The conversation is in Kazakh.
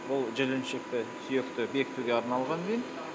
ол жіліншікті сүйекті бекітуге арналған винт